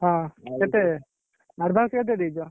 ହଁ କେତେ? advanced କେତେ ଦେଇଛ?